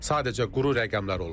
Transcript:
Sadəcə quru rəqəmlər olub.